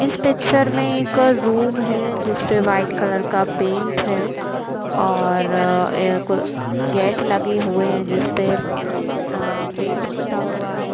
इस पिक्चर में एक रूम है जिसपे वाइट कलर का पेंट है और एक गेट लगे हुए है जिसपे आ पेंट पोता हुआ है।